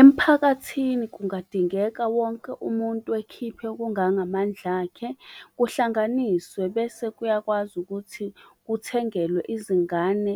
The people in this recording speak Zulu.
Emphakathini kungadingeka wonke umuntu ekhiphe okungangamandla akhe kuhlanganiswe bese kuyakwazi ukuthi kuthengelwe izingane